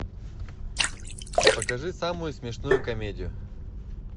покажи самую смешную комедию